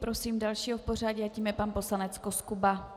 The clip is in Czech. Prosím dalšího v pořadí a tím je pan poslanec Koskuba.